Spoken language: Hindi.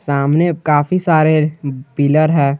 सामने काफी सारे पिलर है।